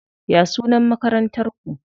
Ya sunan Makarantar ku?